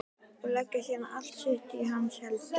Og leggja síðan allt sitt í hans hendur.